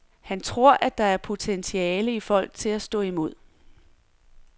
Han tror på, at der er potentiale i folk til at stå imod.